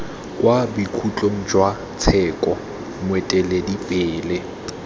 kwa bokhutlong jwa tsheko moeteledipele